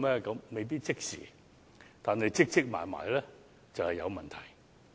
這未必即時發生，但日積月累便會有問題。